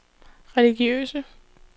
religiøse